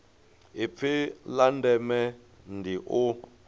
ipfi la ndeme ndi u